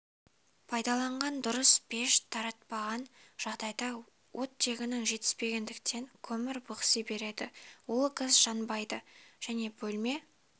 пайдаланған дұрыс пеш тартпаған жағдайда оттегінің жетіспегендіктен көмір бықси береді улы газ жанбайды және бөлме